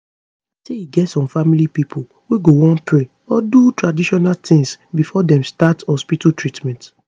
i say e get some family pipo wey go want pray or do traditional tins before dem start hospital treatment